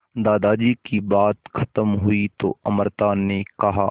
दादाजी की बात खत्म हुई तो अमृता ने कहा